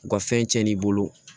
U ka fɛn cɛn n'i bolo